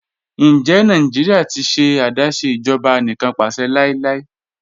Ǹjẹ Nàìjíríà ti ṣẹ̀ adásé ìjọba ànìkànpàṣẹ̀ láíláí?